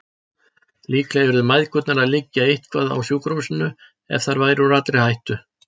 Líklega yrðu mæðgurnar að liggja eitthvað á sjúkrahúsinu, en þær væru úr allri hættu.